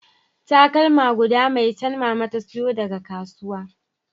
Takalma guda maitan mama ta sayo daga kasuwa